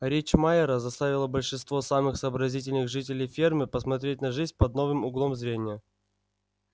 речь майера заставила большинство самых сообразительных жителей фермы посмотреть на жизнь под новым углом зрения